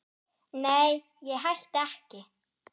Nei, ég hætti ekki.